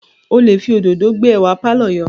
O lè fi òdòdó gbé ẹwà pàlọ́ yọ